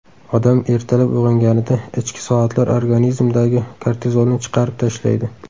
Odam ertalab uyg‘onganida ichki soatlar organizmdagi kortizolni chiqarib tashlaydi.